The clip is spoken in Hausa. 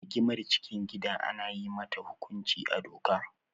Rigimar cikin gida ana yi mata hukunci a doka.